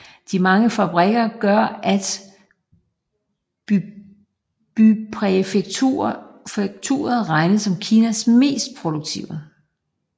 De mange fabrikker gør at bypræfekturet regnes som Kinas mest produktive